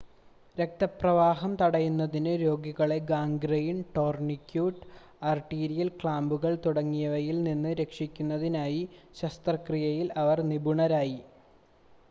രക്തപ്രവാഹം തടയുന്നതിന് രോഗികളെ ഗാംഗ്രൈൻ ടോർണിക്യൂട്ട് ആർട്ടീരിയൽ ക്ലാമ്പുകൾ തുടങ്ങിയവയിൽ നിന്ന് രക്ഷിക്കുന്നതിനായി ശസ്ത്രക്രിയയിൽ അവർ നിപുണരായി